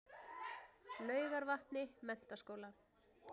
Laugarvatni Menntaskóla